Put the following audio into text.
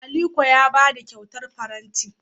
Aliko ya ba ni kyautar faranti.